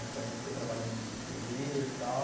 Então ele foi trabalhando de pedreiro e tal.